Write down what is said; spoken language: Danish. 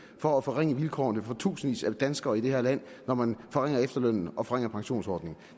for at forringe vilkårene for tusindvis af danskere i det her land når man forringer efterlønnen og forringer pensionsordningerne